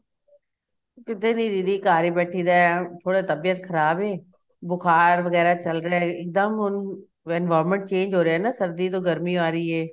ਕਿੱਥੇ ਨੀਂ ਦੀਦੀ ਘਰ ਈ ਬੈਠੀ ਰੇ ਥੋੜੀ ਤਬੀਅਤ ਖ਼ਰਾਬ ਏ ਬੁਖਾਰ ਵਗੈਰਾ ਚੱਲ ਰਿਹਾ ਇੱਕ ਦਮ ਹੁਣ environment change ਹੋ ਰਿਹਾ ਨਾ ਸਰਦੀ ਤੋਂ ਗਰਮੀ ਆ ਰਹੀ ਏ